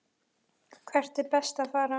Hvert er best að fara?